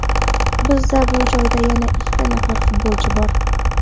Bizda bu joyda yana ikki nafar futbolchi bor.